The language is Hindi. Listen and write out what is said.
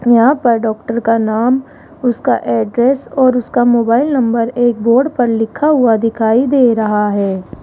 यहां पर डॉक्टर का नाम उसका एड्रेस और उसका मोबाइल नंबर एक बोर्ड पर लिखा हुआ दिखाई दे रहा है।